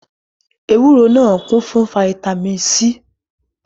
Ewúro náà kún fún fataímìn C.